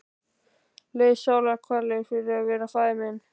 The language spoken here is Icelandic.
Leið sálarkvalir fyrir að vera faðir minn.